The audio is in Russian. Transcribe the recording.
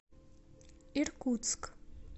иркутск